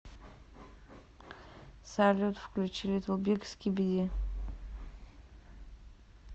салют включи литтл биг скиби ди